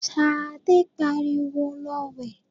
Sadé pariwo, 'Lọ wẹ̀!'